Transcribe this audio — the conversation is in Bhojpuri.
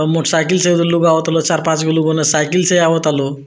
और मोटरसाइकिल से ओने लोग आवता लोग चार पाँच गो लोग ओने साइकिल से आवता लोग।